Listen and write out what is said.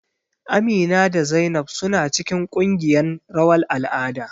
Amina da Zainab suna cikin ƙungiyan rawar al'ada.